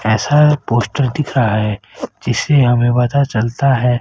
ऐसा है पोस्टर दिख रहा है जिससे हमें पता चलता है।